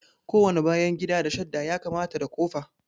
Kowane bayan gida da shadda ya kamata da kofa